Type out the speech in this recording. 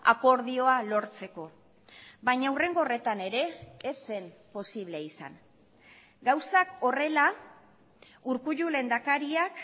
akordioa lortzeko baina hurrengo horretan ere ez zen posible izan gauzak horrela urkullu lehendakariak